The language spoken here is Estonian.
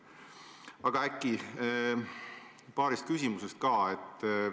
Aga paarist asjast veel.